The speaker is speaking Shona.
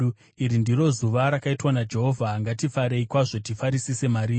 Iri ndiro zuva rakaitwa naJehovha; ngatifarei kwazvo tifarisise mariri.